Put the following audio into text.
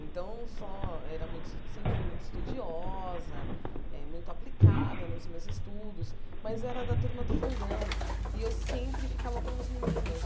Então, só era mui sempre fui muito estudiosa, eh muito aplicada nos meus estudos, mas era da turma do fundão e eu sempre ficava com os meninos.